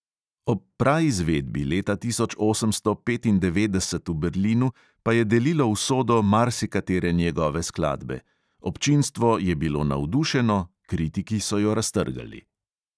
Ob praizvedbi leta osemnajststo petindevetdeset v berlinu pa je delilo usodo marsikatere njegove skladbe: občinstvo je bilo navdušeno, kritiki so jo raztrgali.